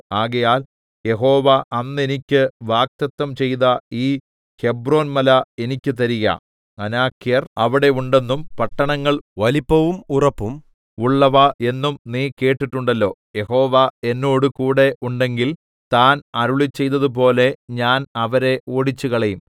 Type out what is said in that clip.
ആകയാൽ യഹോവ അന്ന് എനിക്ക് വാഗ്ദത്തം ചെയ്ത ഈ ഹെബ്രോൻമല എനിക്ക് തരിക അനാക്യർ അവിടെ ഉണ്ടെന്നും പട്ടണങ്ങൾ വലിപ്പവും ഉറപ്പും ഉള്ളവ എന്നും നീ കേട്ടിട്ടുണ്ടല്ലോ യഹോവ എന്നോടുകൂടെ ഉണ്ടെങ്കിൽ താൻ അരുളിച്ചെയ്തതുപോലെ ഞാൻ അവരെ ഓടിച്ചുകളയും